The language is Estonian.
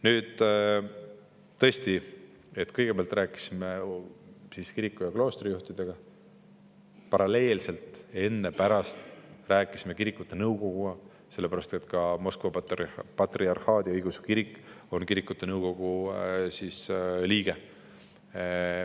Nüüd, tõesti, kõigepealt rääkisime kiriku- ja kloostrijuhtidega, paralleelselt enne ja pärast rääkisime kirikute nõukoguga, sellepärast et ka Moskva Patriarhaadi Eesti Õigeusu Kirik on kirikute nõukogu liige.